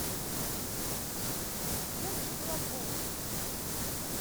верке бураковой